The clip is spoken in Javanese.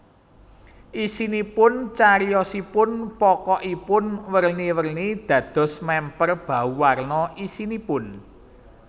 Isinipun Cariyosipun pokokipun werni werni dados mèmper bauwarna isinipun